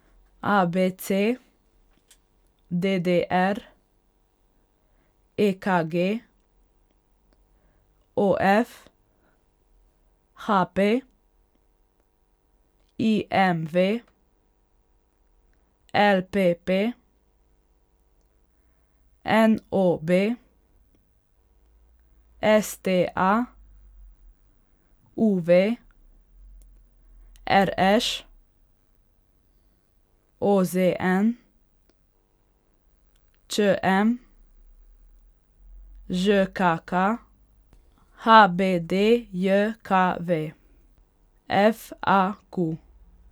A B C; D D R; E K G; O F; H P; I M V; L P P; N O B; S T A; U V; R Š; O Z N; Č M; Ž K K; H B D J K V; F A Q.